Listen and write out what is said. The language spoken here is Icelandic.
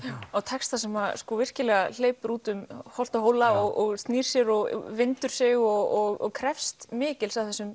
á texta sem hleypur út um holt og hóla og snýr sér og vindur sig og krefst mikils af þessum